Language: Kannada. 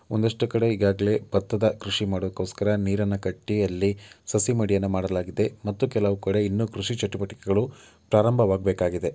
ಒಂದಷ್ಟು ಕಡೆ ಈಗಾಗಲೇ ಭತ್ತದ ಕೃಷಿ ಮಾಡದಿಕ್ಕೋಸ್ಕರ ನೀರನ್ನು ಕಟ್ಟಿ ಅಲ್ಲಿ ಸಸಿ ಮಡಿಯನ್ನ ಮಾಡಲಾಗಿದೆ ಮತ್ತು ಕೆಲವು ಕಡೆ ಇನ್ನೂ ಕೃಷಿ ಚಟುವಟಿಕೆಗಳು ಪ್ರಾರಂಭವಾಗಬೇಕಾಗಿದೆ.